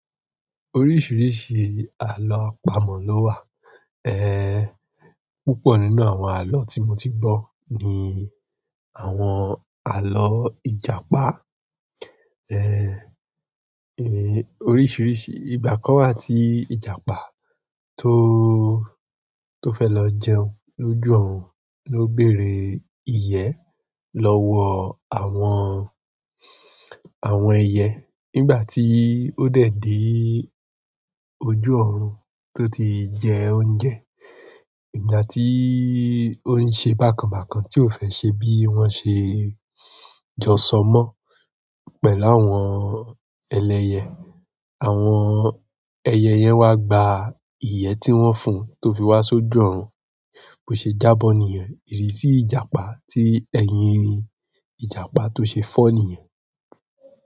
Oríṣiríṣi àlọ́ àpamọ̀ ló wà. Eh, púpọ̀ nínú àwọn àlọ́ tí mo ti gbọ́ ni àwọn àlọ́ Ìjàpá. Eh, eh, oríṣiríṣi ìgbà kan wà tí Ìjàpá tó, tó fẹ́ lọ jẹun lójú ọ̀run ló bére ìyẹ́ lọ́wọ́ àwọn, àwọn ẹyẹ. Nígbà tí ó dẹ̀ de ojú ọ̀run tó ti jẹ oúnjẹ, ìgbà tí ó ń ṣe bákanbàkan tí ó fẹ́ ṣe bí wọ́n ṣe jọ sọ mọ́ pẹ̀lú àwọn ẹlẹyẹ, àwọn ẹyẹ yẹn wá gba iyẹ ti wọn fún to fi wa s'oju ọrun bò ṣe jábọ̀ nìyẹn. Idi sí Ìjàpá tí ẹ̀yìn Ìjàpá tó ṣe fọ́ nìyẹn.